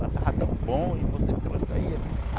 Lá estava tão bom e você trouxe aí a.